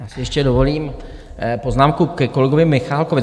Já si ještě dovolím poznámku ke kolegovi Michálkovi.